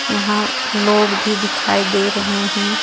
यहां लोग भी दिखाई दे रहे हैं.